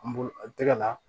An bolo an tɛgɛ la